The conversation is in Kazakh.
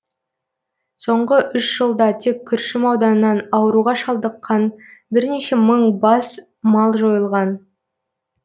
соңғы үш жылда тек күршім ауданынан ауруға шалдыққан бірнеше мың бас мал жойылған